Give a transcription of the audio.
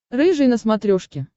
рыжий на смотрешке